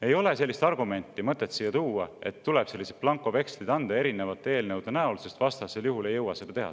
Ei ole sellist argumenti mõtet siia tuua, et tuleb sellised blankovekslid anda erinevate eelnõude näol, sest vastasel juhul ei jõua seda teha.